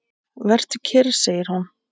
Vertu kyrr, segir hún.